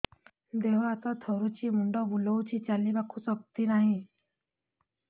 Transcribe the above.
ଦେହ ହାତ ଥରୁଛି ମୁଣ୍ଡ ବୁଲଉଛି ଚାଲିବାକୁ ଶକ୍ତି ନାହିଁ